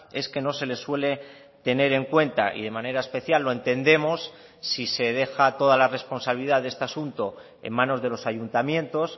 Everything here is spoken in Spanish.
es que no se les suele tener en cuenta y de manera especial lo entendemos si se deja toda la responsabilidad de este asunto en manos de los ayuntamientos